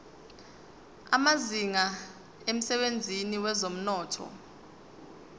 amazinga emsebenzini wezomnotho